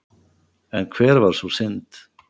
En hver var sú synd?